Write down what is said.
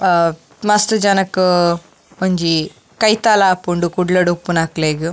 ಆ ಮಸ್ತ್ ಜನಕ್ ಒಂಜಿ ಕೈತಲ್ ಆಪುಂಡು ಕುಡ್ಲಡ್ ಉಪ್ಪುನಕ್ಲೆಗ್.